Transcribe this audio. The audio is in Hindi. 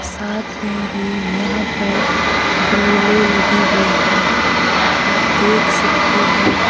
साथ में ही यहां पर गीलीले लगी हुई है आप देख सकते है--